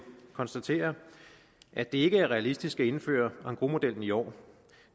konstatere at det ikke er realistisk at indføre engrosmodellen i år